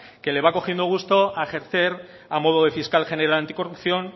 que le va cogiendo gusto a ejercer a modo de fiscal general anticorrupción